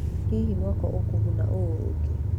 Hihi mwako ũkũguna ũũ ũngĩ?